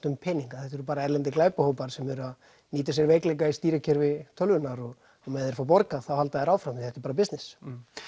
um peninga þetta eru bara erlendir glæpahópar sem eru að nýta sér veikleika í stýrikerfi tölvunnar og meðan þeir fá borgað þá halda þeir áfram því þetta er bara business